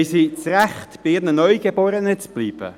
Haben sie das Recht, bei ihren Neugeborenen zu bleiben?